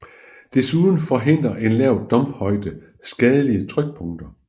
Desuden forhindrer en lav dumphøjde skadelige trykpunkter